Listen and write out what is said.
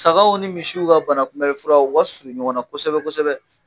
Sagaw ni misiw ka banakunbɛli fura u ka suru ɲɔgɔn na kosɛbɛ-kosɛbɛ.